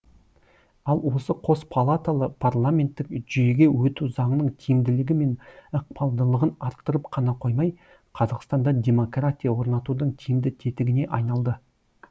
ал осы қос палаталы парламенттік жүйеге өту заңның тиімділігі мен ықпалдылығын арттырып қана қоймай қазақстанда демократия орнатудың тиімді тетігіне айналды